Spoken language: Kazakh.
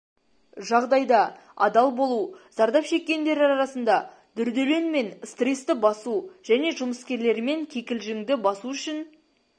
жағдайда адал болу зардап шеккендер арасында дүрделең мен стрессті басу және жұмыскерлерімен кикілжіңді басу үшін